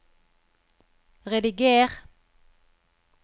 rediger